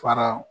Fara